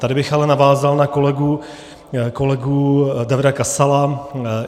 Tady bych ale navázal na kolegu Davida Kasala.